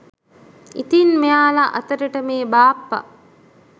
ඉතින් මෙයාල අතරට මේ බාප්ප